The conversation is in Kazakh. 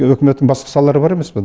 өкіметтің басқа салалары бар емес пе